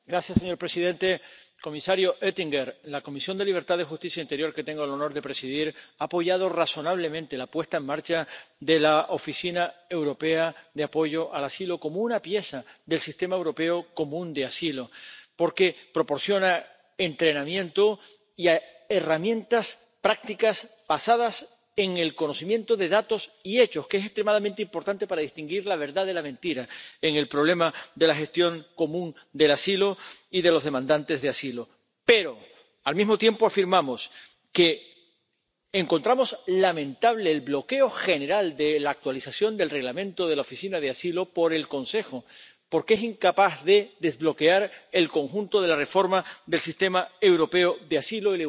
Señor presidente, comisario Oettinger, la Comisión de Libertades Civiles, Justicia y Asuntos de Interior que tengo el honor de presidir ha apoyado razonablemente la puesta en marcha de la Oficina Europea de Apoyo al Asilo como una pieza del sistema europeo común de asilo, porque proporciona entrenamiento y herramientas prácticas basadas en el conocimiento de datos y hechos, algo que es extremadamente importante para distinguir la verdad de la mentira en el problema de la gestión común del asilo y de los demandantes de asilo. Pero, al mismo tiempo, afirmamos que encontramos lamentable el bloqueo general de la actualización del Reglamento de la Oficina por el Consejo porque es incapaz de desbloquear el conjunto de la reforma del sistema europeo de asilo